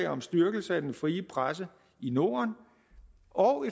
om styrkelse af den frie presse i norden og